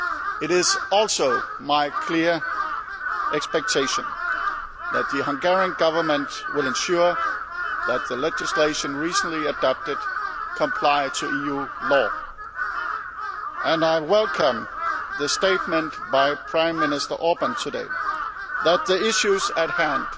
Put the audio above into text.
It is also my clear expectation that the Hungarian Government will ensure that the legislation recently adopted complies with EU law, and I welcome the statement by Prime Minister Orbán today that the issues at hand